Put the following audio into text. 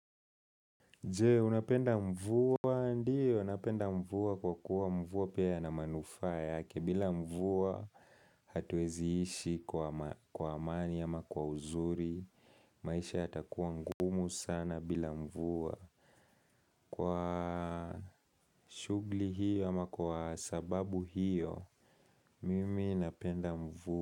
Je, unapenda mvua ndiyo, napenda mvua kwa kuwa mvua pia yana manufaa yake bila mvua hatuwezi ishi kwa amani ama kwa uzuri maisha yatakuwa ngumu sana bila mvua kwa shughuli hiyo ama kwa sababu hiyo mimi napenda mvua.